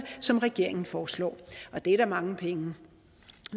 som regeringen foreslår og det er da mange penge